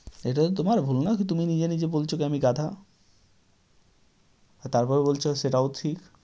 এটা তো তোমার ভুল না কি তুমি নিজে নিজে বলছ কি আমি গাধা? হ্যাঁ, তারপরে বলছ সেটাও ঠিক।